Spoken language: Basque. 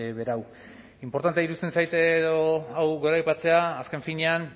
berau inportantea iruditzen zait hau goraipatzea azken finean